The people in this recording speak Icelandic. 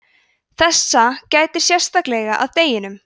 þessa gætir sérstaklega að deginum